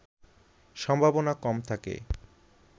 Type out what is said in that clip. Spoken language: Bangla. সম্ভাবনা কম থাকে